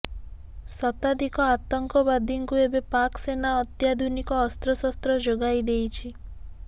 ଶତାଧିକ ଆତଙ୍କବାଦୀଙ୍କୁ ଏବେ ପାକ୍ ସେନା ଅତ୍ୟାଧୁନିକ ଅସ୍ତ୍ରଶସ୍ତ୍ର ଯୋଗାଇ ଦେଇଛି